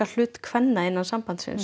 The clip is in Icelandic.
hlut kvenna innan sambandsins